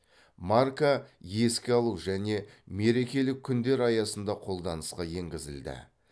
марка еске алу және мерекелік күндер аясында қолданысқа енгізілді